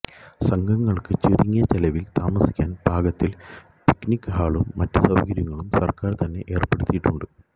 സംഘങ്ങൾക്ക് ചുരുങ്ങിയ ചെലവിൽ താമസിക്കാൻ പാകത്തിൽ പിക്നിക് ഹാളും മറ്റു സൌകര്യങ്ങളും സർക്കാർ തന്നെ ഏർപ്പെടുത്തിയിട്ടുണ്ട്